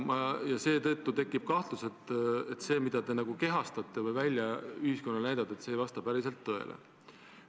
Ja seetõttu tekib kahlus, et see, mida te nagu kehastate või ühiskonnale välja näitate, ei vasta päriselt tõele.